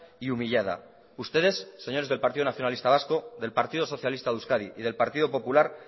y humillada ustedes señores del partido nacionalista vasco del partido socialista de euskadi y del partido popular